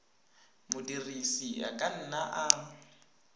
modirisi a ka nna a